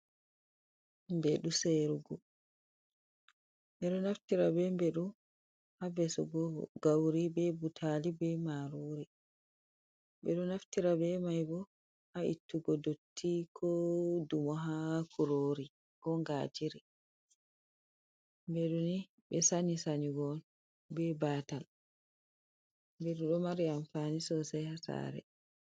Mbeɗu seyirgo. Ɓe ɗo naftira be mbeɗu ha vesugo gauri, be butali, be marori. Ɓe ɗo naftira be mai bo ha ittugo dotti, ko dumo ha kurori ko ngajiri. Mbeɗu ni ɓe sanyi sanyugo on be baatal mbeɗu, ɗo mari amfani sosai ha saare.